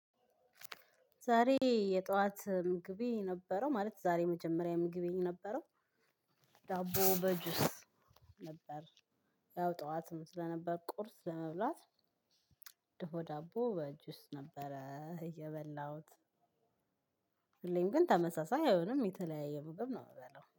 ዛሬ የጧት ምግቤ የነበረው ማለት ዛሬ መጀመሪያ ምግቤ የነበረው ዳቦ በጁስ ነበር። ያው ጠዋትም ስለነበር ቁርስ ለመብላት ድፎ ዳቦ በጁስ ነበረ እየበላሁት። ሁሌም ግን ተመሳሳይ አይሆንም የተለያየ ምግብ ነው ምበላው